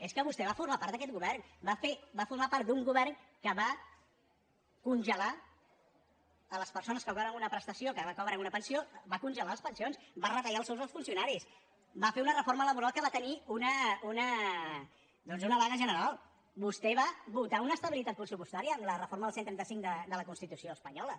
és que vostè va formar part d’aquest govern va formar part d’un govern que va congelar a les persones que cobraven una prestació que cobren una pensió va congelar les pensions va retallar els sous dels funcionaris va fer una reforma laboral que va tenir doncs una vaga general vostè va votar una estabilitat pressupostària amb la reforma del cent i trenta cinc de la constitució espanyola